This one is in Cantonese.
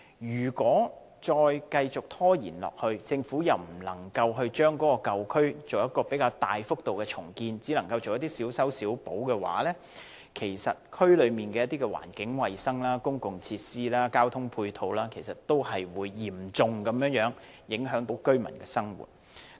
如果繼續拖延，政府不能就舊區作出比較大幅度的重建，只能夠作一些小修小補，區內的環境衞生、公共設施、交通配套會嚴重影響居民的生活。